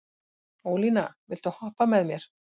Ólína, viltu hoppa með mér?